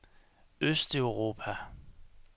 østeuropa